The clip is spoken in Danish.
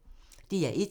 DR1